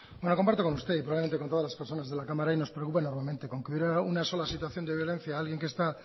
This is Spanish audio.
bueno comparto con usted y probablemente con todas las personas de la cámara y nos preocupa enormemente con que hubiera una sola situación de violencia a alguien que está